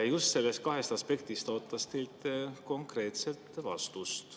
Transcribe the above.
Just nendest kahest aspektist ootaks teilt konkreetset vastust.